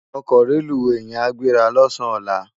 Òkò rélúwé yèn á gbérâ lòsán òlá